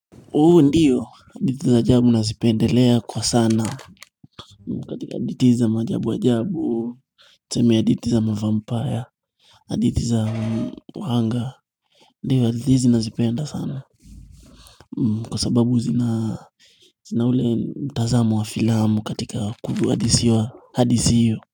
Huu ndio hadithi za jabu nazipendelea kwa sana katika hadithi za maajabu ajabu tuseme hadithi za mavampaya hadithi za uhanga ndio hadithi nazipenda sana kwa sababu zina zina ule mtazamo wa filamu katika kudu hadisiwa hadisi hiyo.